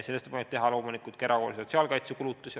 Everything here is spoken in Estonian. Sellest võib loomulikult teha ka erahoolduse ja sotsiaalkaitsekulutusi.